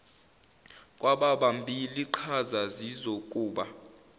kwababambi liqhaza zizokuba